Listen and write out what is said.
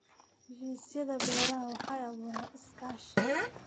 Heshiisyada beeraha waxay abuuraan iskaashi.